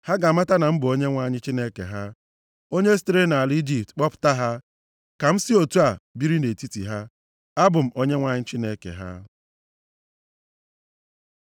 Ha ga-amata na m bụ Onyenwe anyị Chineke ha. Onye sitere nʼala Ijipt kpọpụta ha, ka m si otu a biri nʼetiti ha. Abụ m Onyenwe anyị Chineke ha.